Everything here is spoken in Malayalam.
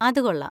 അത് കൊള്ളാം.